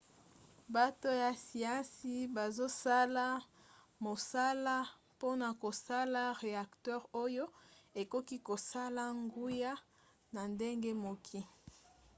bato ya siansi bazosala mosala mpona kosala reacteur oyo ekoki kosala nguya na ndenge moko